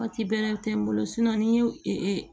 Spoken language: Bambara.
Waati bɛrɛ tɛ n bolo ni n ye